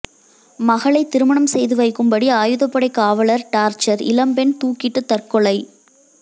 மகளை திருமணம் செய்து வைக்கும்படி ஆயுதப்படை காவலர் டார்ச்சர் இளம்பெண் தூக்கிட்டு தற்கொலை